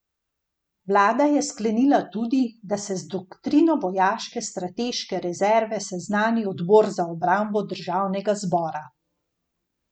Vlada je sklenila tudi, da se z doktrino vojaške strateške rezerve seznani odbor za obrambo državnega zbora.